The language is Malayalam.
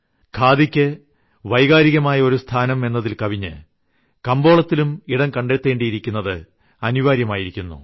ഖാദിയ്ക്ക് വൈകാരികമായ ഒരു സ്ഥാനം എന്നതിൽക്കവിഞ്ഞ് കമ്പോളത്തിലും ഇടം കണ്ടെത്തേണ്ടിയിരിക്കുന്നത് അനിവാര്യമായിരിക്കുന്നു